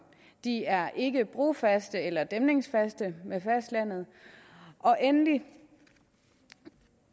de er ikke brofaste eller dæmningsfaste med fastlandet og endelig